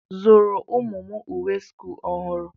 Zụrụ ụmụ m uwe sch ọhụrụ.